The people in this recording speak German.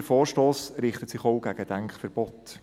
Der Vorstoss richtet sich auch gegen Denkverbote.